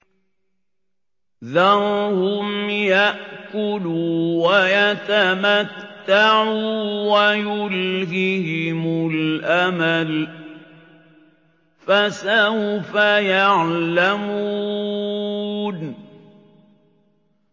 ذَرْهُمْ يَأْكُلُوا وَيَتَمَتَّعُوا وَيُلْهِهِمُ الْأَمَلُ ۖ فَسَوْفَ يَعْلَمُونَ